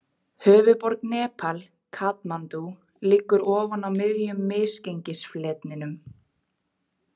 Höfuðborg Nepal, Katmandú, liggur ofan á miðjum misgengisfletinum.